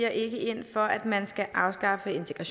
er ikke